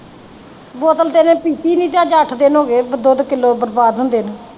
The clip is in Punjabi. ਬੋਤਲ ਤੇ ਇਹਨੇ ਪੀਤੀ ਨੀ ਤੇ ਅੱਜ ਅੱਠ ਦਿਨ ਹੋ ਗਏ ਦੁੱਧ ਕਿੱਲੋ ਬਰਬਾਦ ਹੁੰਦੇ ਨੂੰ